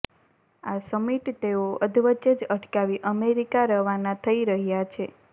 આ સમિટ તેઓ અધવચ્ચે જ અટકાવી અમેરિકા રવાના થઇ રહ્યા છે